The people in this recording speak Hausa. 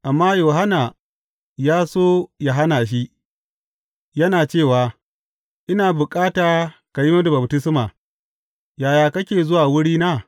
Amma Yohanna ya so yă hana shi, yana cewa, Ina bukata ka yi mini baftisma, yaya kake zuwa wurina?